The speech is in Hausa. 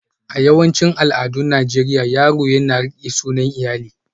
A yawancin al'adun Najeriya, yaro yaro yana riƙe sunan iyali